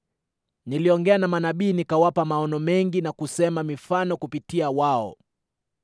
Niliongea na manabii, nikawapa maono mengi na kusema mifano kupitia wao.”